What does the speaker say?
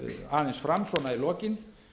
aðeins fram svona í lokin